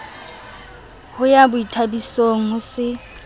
ho ya boithabisong ho se